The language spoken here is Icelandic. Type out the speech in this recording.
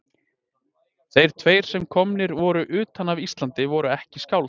Þeir tveir sem komnir voru utan af Íslandi voru ekki skáld.